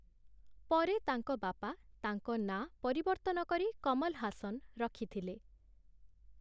ପରେ ତାଙ୍କ ବାପା ତାଙ୍କ ନାଁ ପରିବର୍ତ୍ତନ କରି କମଲ ହାସନ୍‌ ରଖିଥିଲେ ।